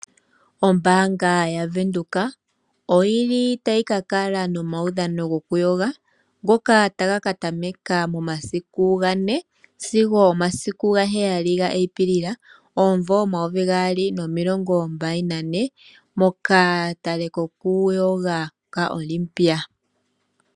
Ombaanga ya Venduka oyi li tayi ka kala nomaudhano go ku yoga ngoka taga ka tameka momasiku gane, sigo momasiku ga heyali ga Apilili omumvo omayovi gaali nomilongo mbali nane. Moka pale ko ku yoga ka Namibia.